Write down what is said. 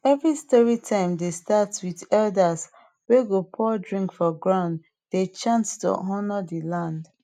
every story time dey start with elder wey go pour drink for ground dey chant to honour de earth